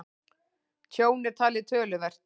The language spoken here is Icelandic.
Tjón er talið töluvert